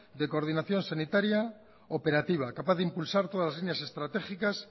de coordinación sanitaria operativa capaz de impulsar todas las líneas estratégicas